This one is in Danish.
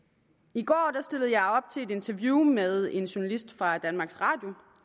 i går stillede jeg op til et interview med en journalist fra danmarks radio